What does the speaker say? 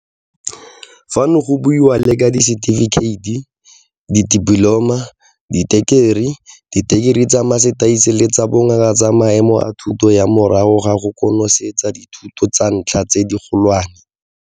Fano go buiwa le ka disetifikheiti, ditipoloma, ditekerii, ditekerii tsa masetase le tsa Bongaka tsa maemo a thuto ya morago ga go konosetsa dithuto tsa ntlha tse digolwane.